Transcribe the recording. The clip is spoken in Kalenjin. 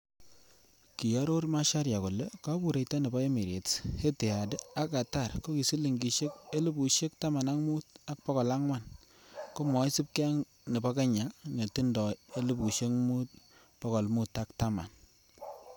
Kioror Macharia kole kobureito nebo Emirates, Etihad ak Qatar ko ki silingisiek 15,400 komoisibge ak nebo kenya netindoi 5,510.